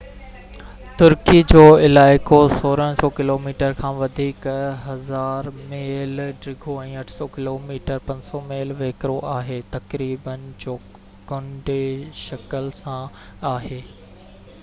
ترڪي جو علائقو 1,600 ڪلوميٽرن کان وڌيڪ 1،000 ميل ڊگهو ۽ 800 ڪلوميٽر 500 ميل ويڪرو آهي، تقريبن چوڪنڊي شڪل سان آهي